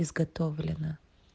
изготовлено